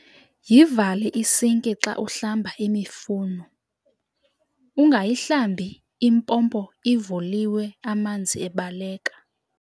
Yivale isinki xa uhlamba imifuno, ungayihlambi impompo ivulilwe amanzi ebaleka.